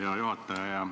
Hea juhataja!